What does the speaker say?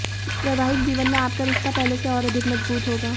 वैवाहिक जीवन में आपका रिश्ता पहले से और अधिक मजबूत होगा